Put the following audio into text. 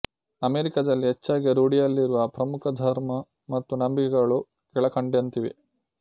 ಅಮೆರಿಕದಲ್ಲಿ ಹೆಚ್ಚಾಗಿ ರೂಢಿಯಲ್ಲಿರುವ ಪ್ರಮುಖ ಧರ್ಮ ಮತ್ತು ನಂಬಿಕೆಗಳು ಕೆಳಕಂಡಂತಿವೆ